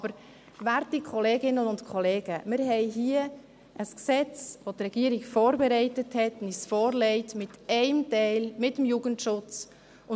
Aber, werte Kolleginnen und Kollegen, wir haben hier ein Gesetz, welches die Regierung vorbereitet hat und uns mit einem Teil, dem Jugendschutz, vorlegt.